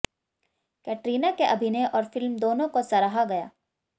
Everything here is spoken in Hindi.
कैटरीना के अभिनय और फ़िल्म दोनों को सराहा गया